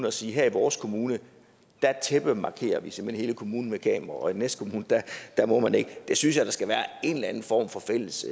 at sige her i vores kommune tæppemarkerer vi simpelt hen hele kommunen med kameraer og i den næste kommune må man ikke jeg synes der skal være en eller anden form for fælles